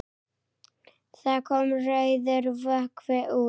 Það kom rauður vökvi út.